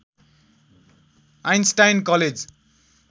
Einstein college